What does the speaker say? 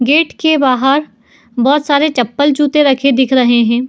Gate के बाहर बहोत सारे चप्पल जूते दिख रखे हैं।